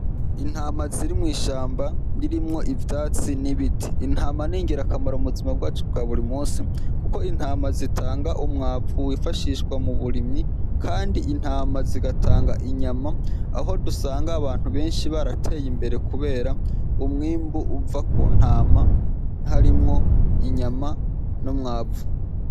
Intama ziri mw'ishamba ririmwo ivyatsi n'ibiti, intama ni ngirakamaro mu buzima bwacu bwa buri munsi kuko intama zitanga umwavu ufashishwa mu burimyi kandi intama zigatanga inyama aho dusanga abantu benshi barateye imbere kubera umwimbu uva ku ntama, harimwo inyama n'umwavu.